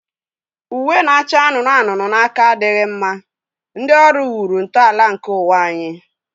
Uwe na-acha anụnụ anụnụ na aka adịghị mma, ndị ọrụ wuru ntọala nke ụwa anyị.